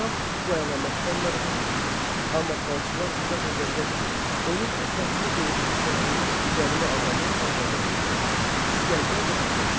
Şah bu əlamətdən narahat oldu, amma falçılar izah edəndə ki, onun əsasını qoyduğu şəhəri gəlmə adamlar abad eləyəcək, İsgəndər rahatlaşdı.